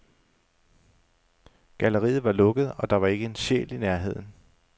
Galleriet var lukket, og der var ikke en sjæl i nærheden.